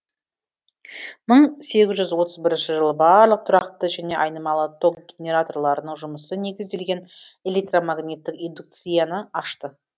мың сегіз жүз отыз бірінші жылы барлық тұрақты және айнымалы ток генераторларының жұмысы негізделген электромагниттік индукцияны ашты